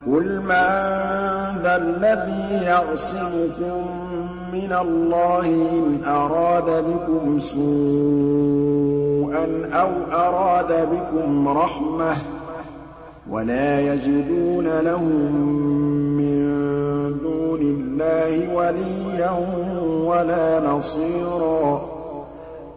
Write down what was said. قُلْ مَن ذَا الَّذِي يَعْصِمُكُم مِّنَ اللَّهِ إِنْ أَرَادَ بِكُمْ سُوءًا أَوْ أَرَادَ بِكُمْ رَحْمَةً ۚ وَلَا يَجِدُونَ لَهُم مِّن دُونِ اللَّهِ وَلِيًّا وَلَا نَصِيرًا